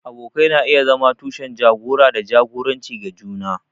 Abokai na iya zama tushen jagora da jagoranci ga juna.